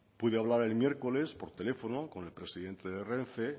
pude hablar el miércoles por teléfono con el presidente de renfe